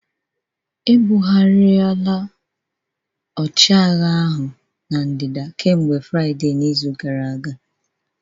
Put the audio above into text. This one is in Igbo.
Ebugharịla Admiral ahụ na ndịda kemgbe Fraịde n'izu gara aga